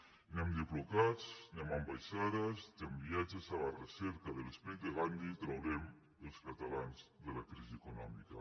ni amb diplocats ni amb ambaixades ni amb viatges a la recerca de l’esperit de gandhi traurem els catalans de la crisi econòmica